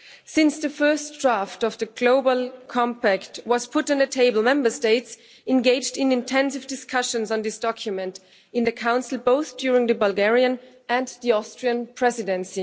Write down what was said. Since the first draft of the Global Compact was put on the table, Member States engaged in intensive discussions on this document in the Council, both during the Bulgarian and the Austrian Presidency.